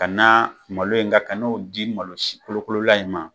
Ka na malo in kan, ka n'o di malo si kolokolola in ma,